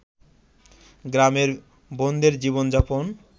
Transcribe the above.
গ্রামের বোনদের জীবন-যাপন